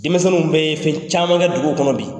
Denmisɛnw bɛ ye fɛn caman kɛ dugu kɔnɔ bi.